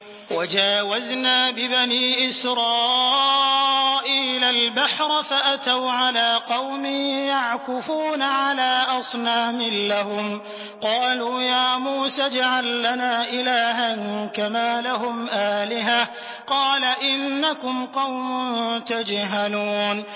وَجَاوَزْنَا بِبَنِي إِسْرَائِيلَ الْبَحْرَ فَأَتَوْا عَلَىٰ قَوْمٍ يَعْكُفُونَ عَلَىٰ أَصْنَامٍ لَّهُمْ ۚ قَالُوا يَا مُوسَى اجْعَل لَّنَا إِلَٰهًا كَمَا لَهُمْ آلِهَةٌ ۚ قَالَ إِنَّكُمْ قَوْمٌ تَجْهَلُونَ